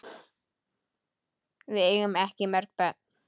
Við eigum ekki mörg börn.